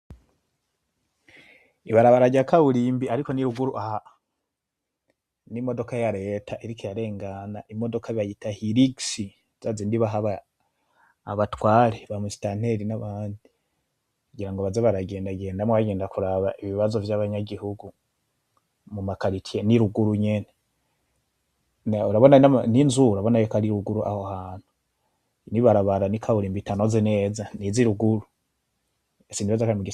Ibarabara rya kaburimbi ariko ni ruguru aha, n'imodoka ya leta iriko irarengana, imodoka bayita hilux zazindi baha abatware ba musitanteri n'abandi, kugira baze baragenda genda bagenda kuraba ibibazo vyaba nyagihugu muma karitye n'iruguru nyene, urabona n'inzu urabona yuko ari ruguru aho hantu, n'ibarabara n'ikaburimbi itameze neza n'izi ruguru, sinibaza ko ari mugisagara.